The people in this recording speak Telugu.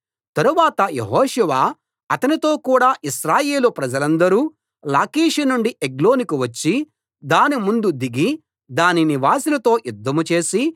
తరువాత యెహోషువ అతనితో కూడా ఇశ్రాయేలు ప్రజలందరూ లాకీషు నుండి ఎగ్లోనుకు వచ్చి దాని ముందు దిగి దాని నివాసులతో యుద్ధం చేసి